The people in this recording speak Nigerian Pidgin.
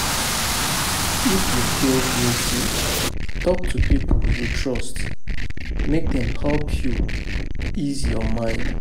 If yu feel guilty, talk to pipo yu trust mek dem help yu ease yur mind